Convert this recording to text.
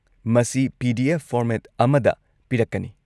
-ꯃꯁꯤ PDF. Format ꯑꯃꯗ ꯄꯤꯔꯛꯀꯅꯤ ꯫